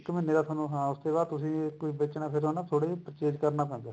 ਇੱਕ ਮਹੀਨੇ ਦਾ ਤੁਹਾਨੂੰ ਹਾਂ ਉਸ ਤੋਂ ਬਾਅਦ ਤੁਸੀਂ ਬੇਚਨਾ ਨਾ ਫੇਰ ਨਾ ਥੋੜਾ purchase ਕਰਨਾ ਪੈਂਦਾ